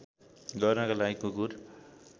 गर्नका लागि कुकुर